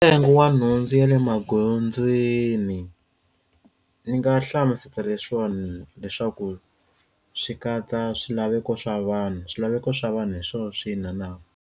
Ntsengo wa nhundzu ya le magondzweni ni nga hlamusela leswiwani leswaku swi katsa swilaveko swa vanhu swilaveko swa vanhu hi swo swi hina na.